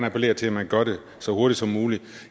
appellere til at man gør det så hurtigt som muligt